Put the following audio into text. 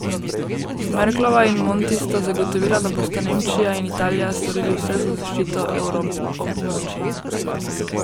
Merklova in Monti sta zagotovila, da bosta Nemčija in Italija storili vse za zaščito evroobmočja.